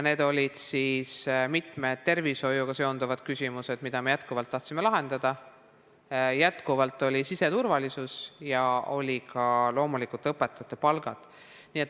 Need olid mitmesugused tervishoiuga seotud probleemid, mida me endiselt tahtsime lahendada, endiselt oli teemaks siseturvalisus ja loomulikult ka õpetajate palk.